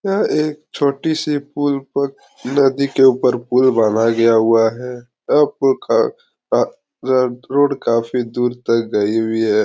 यह एक छोटी सी पुल पर नदी के ऊपर पुल बना गया हुआ है रोड काफी दूर तक गई हुई है।